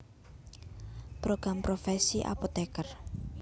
Program Profesi Apoteker